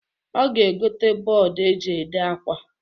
Ọ ga-egota bọd e ji ede akwa.